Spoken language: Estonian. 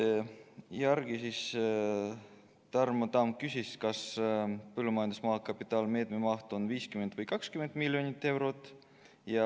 Seejärel küsis Tarmo Tamm, kas põllumajandusmaa kapitalimeetme maht on 50 või 20 miljonit eurot.